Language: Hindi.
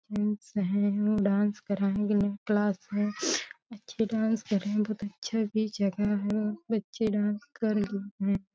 डांस है डान्स करेंगे। नयी क्लास है। अच्छी डान्स कर रही बहोत अच्छा भी जगह है। बच्चे डान्स कर लिए हैं।